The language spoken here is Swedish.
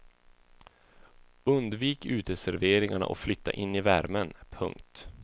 Undvik uteserveringarna och flytta in i värmen. punkt